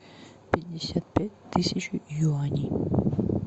пятьдесят пять тысяч юаней